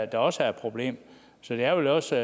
der også er et problem så det er vel også